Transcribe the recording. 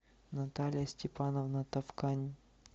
наталья степановна товкань